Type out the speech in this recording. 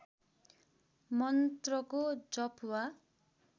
मन्त्रको जप वा